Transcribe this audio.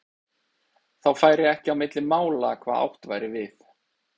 Þá færi ekki á milli mála hvað átt væri við.